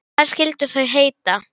Dánarár hans er óþekkt.